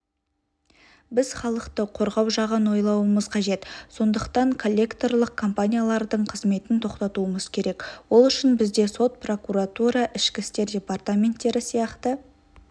біз халықты қорғау жағын ойлауымыз қажет сондытан коллекторлық компаниялардың қызметін тоқтатуымыз керек ол үшін бізде сот прокуратура ішкі істер департаменттері сияқты